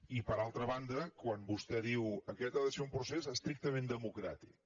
i per altra banda quan vostè diu aquest ha de ser un procés estrictament democràtic